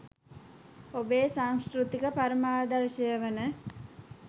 ඔබේ සංස්කෘතික පරමාදර්ශය වන